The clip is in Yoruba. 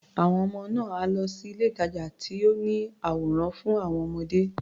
Àwọn ọmọ náà á lọ sí ilé-ìtàjà tó ní àwòrán fún àwọn ọmọdé.